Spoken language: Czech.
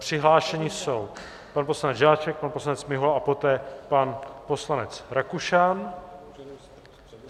Přihlášeni jsou pan poslanec Žáček, pan poslanec Mihola a poté pan poslanec Rakušan.